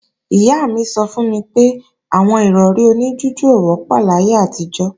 Ìyá mi sọ fún mi pé àwọn Ìrọ̀rí oní jújù ò wọ́pọ̀ láyé àtijọ́